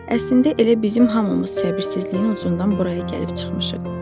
Əslində elə bizim hamımız səbirsizliyin ucundan buraya gəlib çıxmışıq.